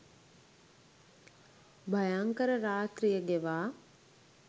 භයංකර රාත්‍රිය ගෙවා